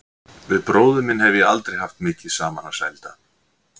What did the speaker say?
Við bróður minn hef ég aldrei haft mikið saman að sælda.